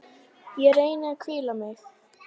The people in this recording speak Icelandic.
Ég reyni að hvíla mig.